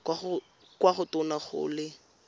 kwa go tona go le